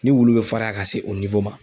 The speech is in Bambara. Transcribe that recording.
Ni wulu bɛ faraya ka se o ma.